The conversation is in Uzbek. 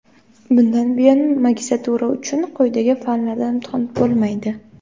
Bundan buyon magistratura uchun quyidagi fanlardan imtihon bo‘lmaydi:.